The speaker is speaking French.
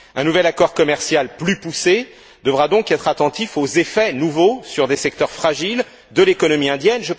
Un nouvel accord commercial plus poussé devra donc être attentif aux effets nouveaux sur des secteurs fragiles de l'économie indienne.